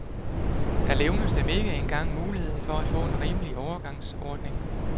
Der levnes dem ikke engang mulighed for at få en rimelig overgangsordning.